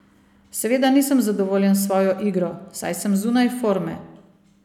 Seveda nisem zadovoljen s svojo igro, saj sem zunaj forme.